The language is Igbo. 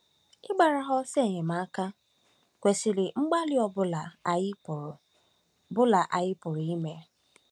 Ịgbara ha ọsọ enyemaka kwesịrị mgbalị ọ bụla anyị pụrụ bụla anyị pụrụ ime.